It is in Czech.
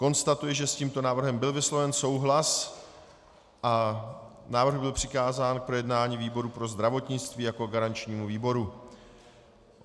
Konstatuji, že s tímto návrhem byl vysloven souhlas a návrh byl přikázán k projednání výboru pro zdravotnictví jako garančnímu výboru.